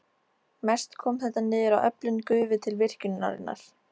Mest kom þetta niður á öflun gufu til virkjunarinnar.